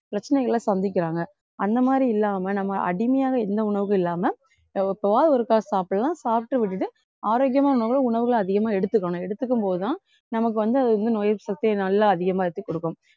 பிரச்சனைகளை சந்திக்கிறாங்க அந்த மாதிரியில்லாம நம்ம அடிமையாக எந்த உணவும் இல்லாம அஹ் எப்பவாவது ஒருக்கா சாப்பிடலாம் சாப்பிட்டு விட்டுட்டு ஆரோக்கியமான உணவுகளை உணவுகளை அதிகமா எடுத்துக்கணும் எடுத்துக்கும் போதுதான் நமக்கு வந்து அது வந்து நோய் எதிர்ப்பு சக்தி நல்லா அதிகமா எடுத்து கொடுக்கும்